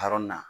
Hɔrɔn na